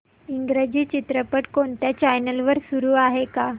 इंग्रजी चित्रपट कोणत्या चॅनल वर चालू आहे का